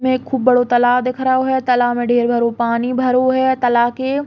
इसमें खूब बड़ो तालाब दिख रओ है। तालाब मे ढेर भरो पानी भरो है। तालाब के --